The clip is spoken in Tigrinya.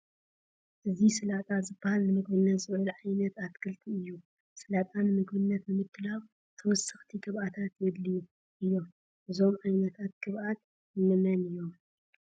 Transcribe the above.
እዚ ሰላጣ ዝበሃል ንምግብነት ዝውዕል ዓይነት ኣትክልቲ እዩ፡፡ ሰላጣ ንምግብነት ንምድላዉ ተወሰኽቲ ግብኣታት የድልዩ እዮም፡፡ እዞም ዓይነታት ግብኣት እንመን እዮም?